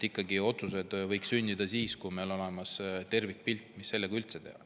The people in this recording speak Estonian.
Ikkagi, otsused võiks sündida siis, kui meil on olemas tervikpilt, mida selle üldse teha.